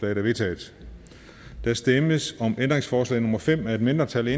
er vedtaget der stemmes om ændringsforslag nummer fem af et mindretal